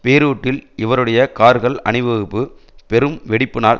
பெய்ரூட்டில் இவருடைய கார்கள் அணிவகுப்பு பெரும் வெடிப்பினால்